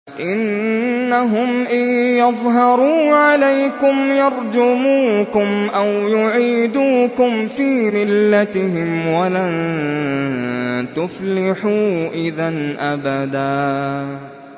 إِنَّهُمْ إِن يَظْهَرُوا عَلَيْكُمْ يَرْجُمُوكُمْ أَوْ يُعِيدُوكُمْ فِي مِلَّتِهِمْ وَلَن تُفْلِحُوا إِذًا أَبَدًا